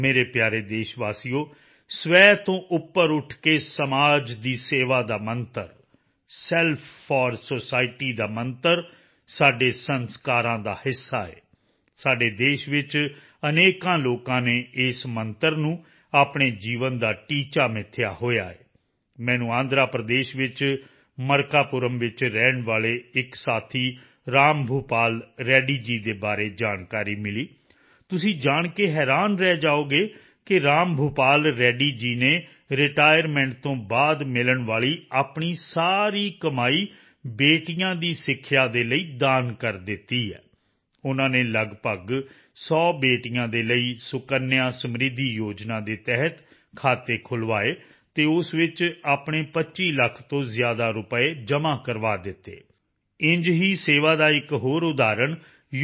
ਮੇਰੇ ਪਿਆਰੇ ਦੇਸ਼ਵਾਸੀਓ ਸਵੈ ਤੋਂ ਉੱਪਰ ਉੱਠ ਕੇ ਸਮਾਜ ਦੀ ਸੇਵਾ ਦਾ ਮੰਤਰ ਸੈਲਫ ਫੌਰ ਸੁਸਾਇਟੀ ਦਾ ਮੰਤਰ ਸਾਡੇ ਸੰਸਕਾਰਾਂ ਦਾ ਹਿੱਸਾ ਹੈ ਸਾਡੇ ਦੇਸ਼ ਵਿੱਚ ਅਨੇਕਾਂ ਲੋਕਾਂ ਨੇ ਇਸ ਮੰਤਰ ਨੂੰ ਆਪਣੇ ਜੀਵਨ ਦਾ ਟੀਚਾ ਮਿਥਿਆ ਹੋਇਆ ਹੈ ਮੈਨੂੰ ਆਂਧਰ ਪ੍ਰਦੇਸ਼ ਵਿੱਚ ਮਰਕਾਪੁਰਮ ਵਿੱਚ ਰਹਿਣ ਵਾਲੇ ਇੱਕ ਸਾਥੀ ਰਾਮ ਭੂਪਾਲ ਰੈੱਡੀ ਜੀ ਦੇ ਬਾਰੇ ਜਾਣਕਾਰੀ ਮਿਲੀ ਤੁਸੀਂ ਜਾਣ ਕੇ ਹੈਰਾਨ ਰਹਿ ਜਾਓਗੇ ਕਿ ਰਾਮ ਭੂਪਾਲ ਰੈੱਡੀ ਜੀ ਨੇ ਰਿਟਾਇਰਮੈਂਟ ਤੋਂ ਬਾਅਦ ਮਿਲਣ ਵਾਲੀ ਆਪਣੀ ਸਾਰੀ ਕਮਾਈ ਬੇਟੀਆਂ ਦੀ ਸਿੱਖਿਆ ਦੇ ਲਈ ਦਾਨ ਕਰ ਦਿੱਤੀ ਹੈ ਉਨ੍ਹਾਂ ਨੇ ਲਗਭਗ 100 ਬੇਟੀਆਂ ਦੇ ਲਈ ਸੁਕੰਨਿਆ ਸਮ੍ਰਿੱਧੀ ਯੋਜਨਾ ਦੇ ਤਹਿਤ ਖਾਤੇ ਖੁੱਲ੍ਹਵਾਏ ਅਤੇ ਉਸ ਵਿੱਚ ਆਪਣੇ 25 ਲੱਖ ਤੋਂ ਜ਼ਿਆਦਾ ਰੁਪਏ ਜਮ੍ਹਾਂ ਕਰਵਾ ਦਿੱਤੇ ਇੰਝ ਹੀ ਸੇਵਾ ਦਾ ਇੱਕ ਹੋਰ ਉਦਾਹਰਣ ਯੂ